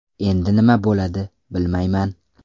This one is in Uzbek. Endi nima bo‘ladi, bilmayman.